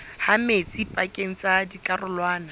ha metsi pakeng tsa dikarolwana